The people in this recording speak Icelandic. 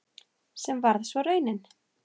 Sem varð svo raunin.